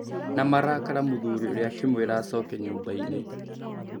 Na marakara mũthuri ũrĩa akĩmwĩra acoke nyũmbainĩ.